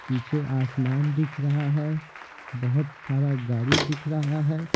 पीछे आसमान दिख रहा है बहुत सारा गाड़ी दिख रहा है।